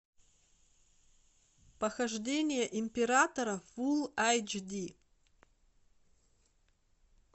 похождение императора фулл эйч ди